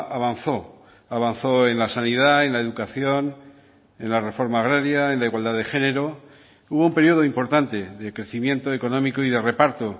avanzó avanzó en la sanidad en la educación en la reforma agraria en la igualdad de género hubo un periodo importante de crecimiento económico y de reparto